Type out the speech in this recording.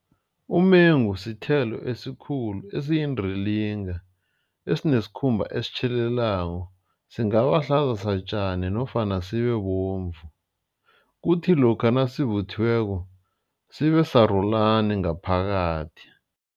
Umengu sithelo esikhulu esiyindilinga esinesikhumba esitjhelelako. Singaba hlaza satjani nofana sibe bovu ukuthi lokha nasivuthiweko sibe sarulani ngaphakathi.